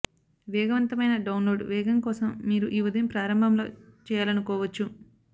వేగవంతమైన డౌన్లోడ్ వేగం కోసం మీరు ఈ ఉదయం ప్రారంభంలో చేయాలనుకోవచ్చు